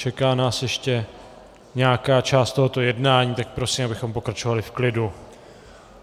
Čeká nás ještě nějaká část tohoto jednání, tak prosím, abychom pokračovali v klidu.